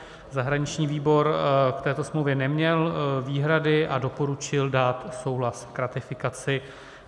Zahraniční výbor k této smlouvě neměl výhrady a doporučil dát souhlas k ratifikaci.